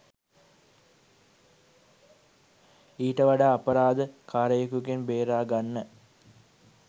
ඊට වඩා අපරාධ කාරයෙකුගෙන් බේරගන්න